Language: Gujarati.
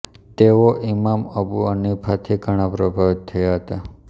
તેઓ ઇમામ અબુ હનીફાથી ઘણા પ્રભાવિત થયા હતા